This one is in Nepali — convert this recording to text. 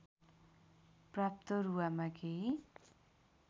प्राप्त रुवामा केही